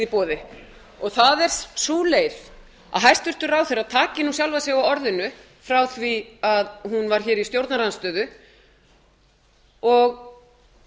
boði og það er sú leið að hæstvirtur ráðherra taki nú sjálfa sig á orðinu frá því að hún var hér í stjórnarandstöðu og